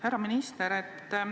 Härra minister!